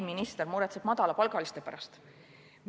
Minister muretseb madalapalgaliste pärast.